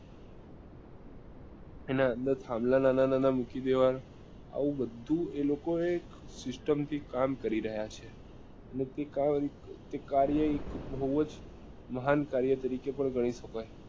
એના અંદર નાના નાના મૂકી દેવા ના આવું બધું એ લોકો એક system થી કામ કરી રહ્યા છે અને એ કામ તે કાર્ય બઉ જ મહાન કાર્ય તરીકે પણ ગણી શકાય